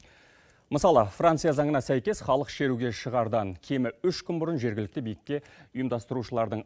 мысалы франция заңына сәйкес халық шеруге шығардан кемі үш күн бұрын жергілікті билікке ұйымдастырушылардың